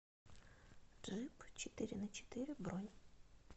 джип четыреначетыре бронь